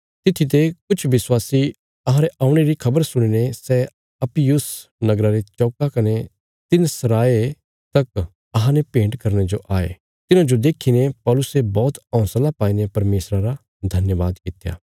तित्थी ते किछ विश्वासी अहांरे औणे री खबर सुणीने सै अपियुस नगरा रे चौका कने तिन्न सराये तक अहांने भेंट करने जो आये तिन्हांजो देखीने पौलुसे बौहत हौंसला पाईने परमेशरा रा धन्यवाद कित्या